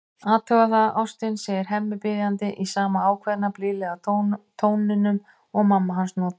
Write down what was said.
Athugaðu það, ástin, segir Hemmi biðjandi, í sama ákveðna, blíðlega tóninum og mamma hans notar.